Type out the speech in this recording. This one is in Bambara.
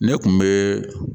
Ne kun bɛ